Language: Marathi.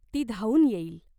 ती धावून येईल.